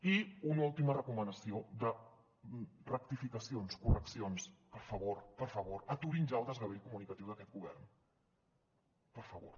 i una última recomanació de rectificacions correccions per favor per favor aturin ja el desgavell comunicatiu d’aquest govern per favor